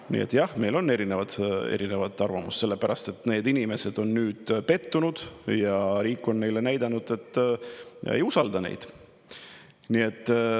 Nii et jah, meil on erinevad arvamused, sellepärast et need inimesed on nüüd pettunud ja riik on neile näidanud, et ei usalda neid.